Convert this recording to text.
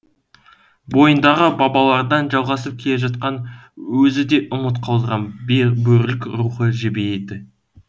бойындағы бабалардан жалғасып келе жатқан өзі де ұмыт қалдырған бөрілік рухы жебейді